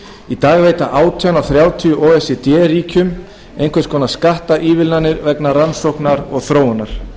í dag veita átján af þrjátíu o e c d ríkjum einhvers konar skattaívilnanir vegna rannsóknar og þróunar